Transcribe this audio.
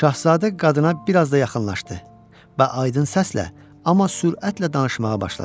Şahzadə qadına biraz da yaxınlaşdı və aydın səslə, amma sürətlə danışmağa başladı.